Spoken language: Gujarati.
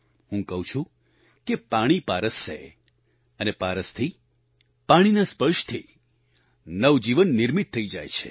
હું કહું છું કે પાણી પારસ છે અને પારસથી પાણીના સ્પર્શથી નવજીવન નિર્મિત થઈ જાય છે